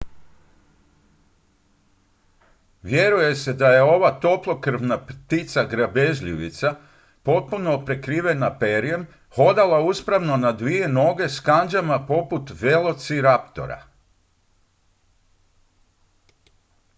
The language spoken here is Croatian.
vjeruje se da je ova toplokrvna ptica grabežljivica potpuno prekrivena perjem hodala uspravno na dvije noge s kandžama poput velociraptora